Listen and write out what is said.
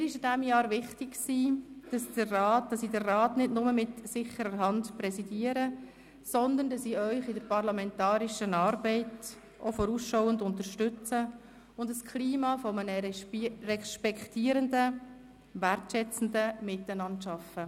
Mir war in diesem Jahr wichtig, dass ich den Rat nicht nur mit sicherer Hand präsidiere, sondern dass ich Sie in der parlamentarischen Arbeit auch vorausschauend unterstütze und ein Klima eines respektierenden, wertschätzenden Miteinanders schaffe.